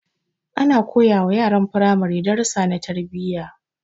Ana koyawa yaran firamare darussa na tarbiyya